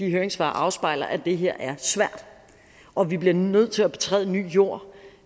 høringssvarene afspejler at det her er svært og at vi bliver nødt til at betræde ny jord